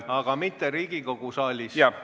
Aga mitte Riigikogu saalis.